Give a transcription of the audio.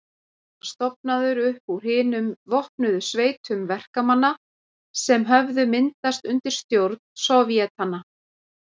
Hann var stofnaður upp úr hinum vopnuðu sveitum verkamanna sem höfðu myndast undir stjórn sovétanna.